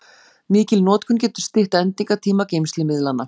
Mikil notkun getur stytt endingartíma geymslumiðlanna.